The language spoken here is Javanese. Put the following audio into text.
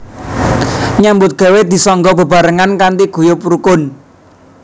Nyambut gawé disangga bebaarengan kanthi guyub rukun